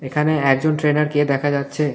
এখানে একজন ট্রেনারকে দেখা যাচ্ছে.